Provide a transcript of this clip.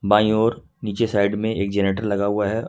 By ओर नीचे side में एक जनरेटर लगा हुआ है।